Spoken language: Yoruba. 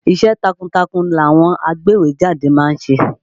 Iṣẹ́ takuntakun làwọn agbéwèé jáde ma ń ṣe.